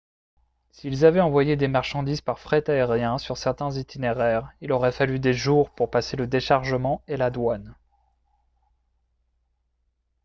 s'ils avaient envoyé des marchandises par fret aérien sur certains itinéraires il aurait fallu des jours pour passer le déchargement et la douane